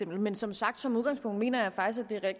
men som sagt som udgangspunkt mener jeg faktisk at